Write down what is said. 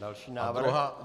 Další návrh.